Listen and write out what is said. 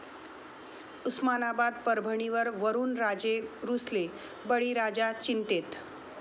उस्मानाबाद, परभणीवर वरूणराजे रुसले, बळीराजा चिंतेत